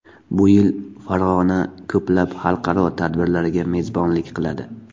Bu yil Farg‘ona ko‘plab xalqaro tadbirlarga mezbonlik qiladi.